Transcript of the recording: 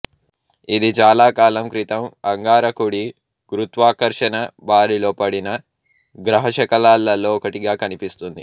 ఇది చాలా కాలం క్రితం అంగారకుడి గురుత్వాకర్షణ బారిలో పడిన గ్రహశకలాలలో ఒకటిగా కనిపిస్తుంది